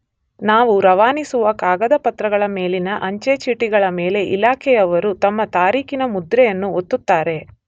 ನಾವು ರವಾನಿಸುವ ಕಾಗದ ಪತ್ರಗಳ ಮೇಲಿನ ಅಂಚೆ ಚೀಟಿಗಳ ಮೇಲೆ ಇಲಾಖೆಯವರು ತಮ್ಮ ತಾರೀಖಿನ ಮುದ್ರೆಯನ್ನು ಒತ್ತುತ್ತಾರೆ.